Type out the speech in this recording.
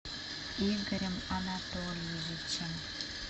игорем анатольевичем